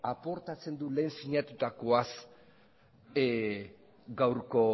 aportatzen du lehen sinatutakoaz gaurko